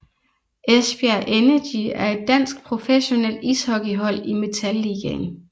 Esbjerg Energy er et dansk professionelt ishockeyhold i Metal Ligaen